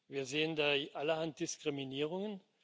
Wir sehen da allerhand Diskriminierungen.